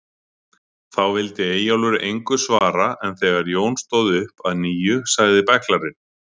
Þá vildi Eyjólfur engu svara en þegar Jón stóð upp að nýju sagði bæklarinn